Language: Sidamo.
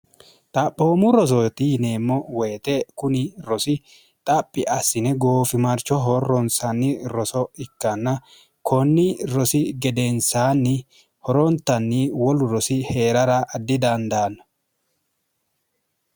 xaphoomu rosooti yineemmo woyite kuni rosi xaphi assine goofimarcho horroonsanni roso ikkanna konni rosi gedeensaanni horoontanni wolu rosi hee'rara ddidandaanno